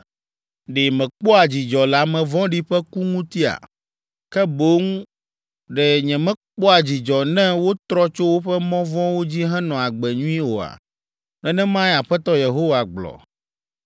Ɖe mekpɔa dzidzɔ le ame vɔ̃ɖi ƒe ku ŋutia? Ke boŋ ɖe nyemekpɔa dzidzɔ ne wotrɔ tso woƒe mɔ vɔ̃wo dzi henɔ agbe nyui oa?” Nenemae Aƒetɔ Yehowa gblɔ.